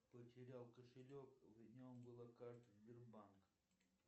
потерял кошелек в нем была карта сбербанк